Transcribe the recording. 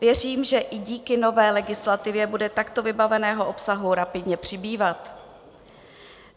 Věřím, že i díky nové legislativě bude takto vybaveného obsahu rapidně přibývat.